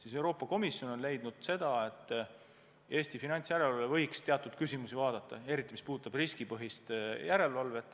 Aga Euroopa Komisjon on leidnud, et Eesti finantsjärelevalve võiks teatud küsimusi vaadata, eriti mis puudutab riskipõhist järelevalvet.